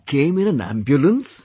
You came in an ambulance